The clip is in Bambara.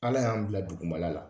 Ala y'an bila dugumala la.